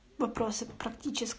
вопросы про